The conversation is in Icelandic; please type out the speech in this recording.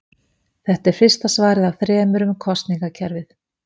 Þetta er fyrsta svarið af þremur um kosningakerfið.